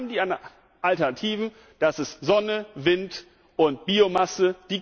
Wir haben die Alternativen, das sind Sonne, Wind und Biomasse.